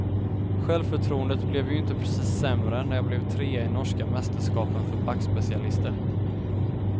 Självförtroendet blev ju inte precis sämre när jag blev trea i norska mästerskapen för backspecialister.